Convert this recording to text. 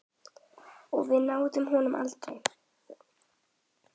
Og við náðum honum aldrei.